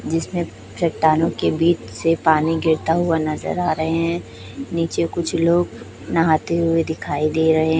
जिसमें चट्टानों के बीच से पानी गिरता हुआ नजर आ रहे हैं नीचे कुछ लोग नहाते हुए दिखाई दे रहे--